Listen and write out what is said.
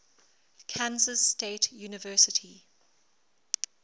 kansas state university